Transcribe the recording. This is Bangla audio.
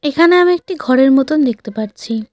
এখানে আমি একটি ঘরের মতন দেখতে পারছি।